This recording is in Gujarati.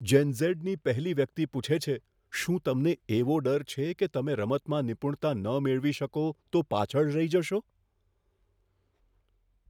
જેન ઝેડની પહેલી વ્યક્તિ પૂછે છે, શું તમને એવો ડર છે કે તમે રમતમાં નિપુણતા ન મેળવી શકો તો પાછળ રહી જશો?